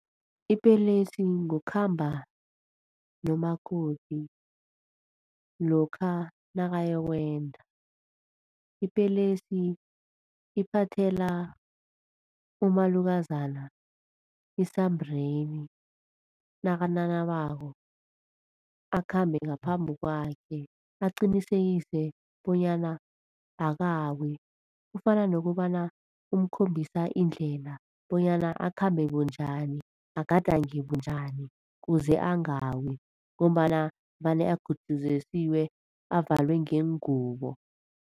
Ipelesi, ngokhamba nomakoti lokha nakayokwenda. Ipelesi iphathela umalukazana isambreni nakananabako, akhambe ngaphambi kwakhe aqinisekise bonyana akawi. Kufana nokobana umkhombisa indlela bonyana akhambe bunjani, agadange bunjani kuze angawi ngombana vane agutjuzesiwe avalwe ngengubo.